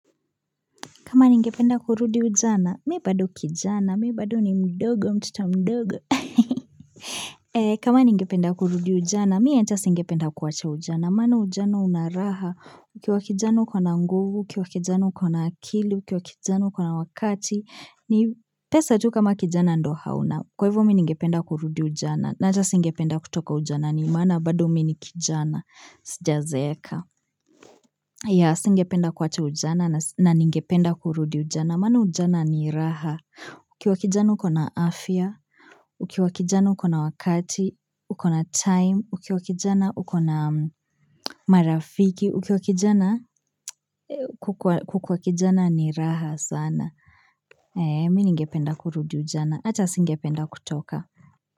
Kama ningependa kurudi ujana, mi bado kijana, mi bado ni mdogo, mtoto mdogo. Kama ningependa kurudi ujana, mi hata singependa kuwacha ujana. Maana ujana una raha, ukiwa kijana uko na nguvu, ukiwa kijana uko na akili, ukiwa kijana uko na wakati. Pesa tu kama kijana ndio hauna, kwa hivyo mi ningependa kurudi ujana. Na hata singependa kutoka ujana, ndio maana bado mi ni kijana. Sijazeeka. Ya, singependa kuwacha ujana, na ningependa kurudi ujana. Maana ujana ni raha. Ukiwa kijana ukona afya. Ukiwa kijana ukona wakati. Ukona time. Ukiwa kijana ukona marafiki. Ukiwa kijana kukua kijana ni raha sana. Eee, mi ningependa kurudi ujana. Hata singependa kutoka.